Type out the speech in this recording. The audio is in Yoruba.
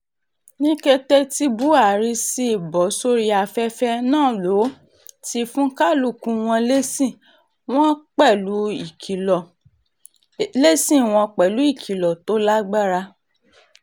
ní kété tí buhari sì bọ́ sórí afẹ́fẹ́ náà ló ti fún kálukú wọn lésì wọn pẹ̀lú ìkìlọ̀ tó lágbára